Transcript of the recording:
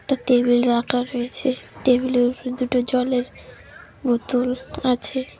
একটা টেবিল রাখা রয়েছে টেবিলের উপরে দুটি জলের বোতল আছে।